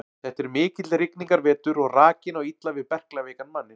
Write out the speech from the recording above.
Þetta er mikill rigningarvetur og rakinn á illa við berklaveikan manninn.